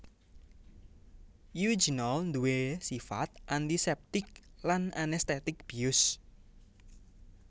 Eugenol nduwé sifat antiseptik lan anestetik bius